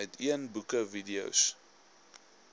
uitneem boeke videos